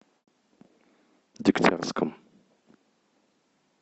дегтярском